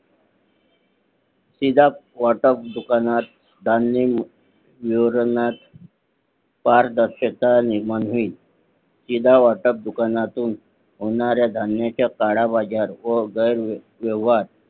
शिदा वाटप दुकानात धान्य पारदर्शकता निर्माण होईल शिदा वाटप दुकानातून होणारा धान्याचा काळा बाजार व गैरव्यवहार